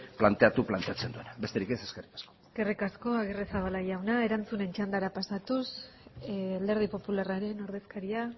planteatu planteatzen duena besterik ez eskerrik asko eskerrik asko aguirrezabala jauna erantzunen txandara pasatuz alderdi popularraren ordezkaria